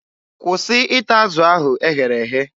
Kwụsị ịta azụ ahụ e ghere eghe!